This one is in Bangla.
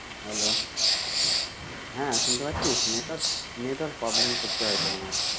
Hello, হ্যাঁ শুনতে পাচ্ছিস? network problem করছে হয়তো আমার।